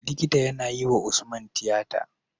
Likita yAna yi wa usman tiyata